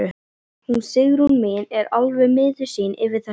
Hún Sigrún mín er alveg miður sín yfir þessu.